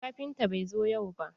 Kafinta bai zo yau ba.